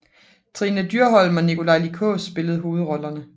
Trine Dyrholm og Nikolaj Lie Kaas spillede hovedrollerne